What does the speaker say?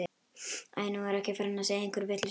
Æi, nú er ég farin að segja einhverja vitleysu.